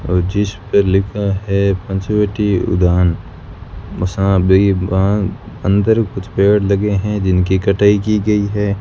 और जीस पर लिखा है पंचवटी उड़ान अंदर कुछ पेड़ लगे हैं जिनकी कटई की गई हैं।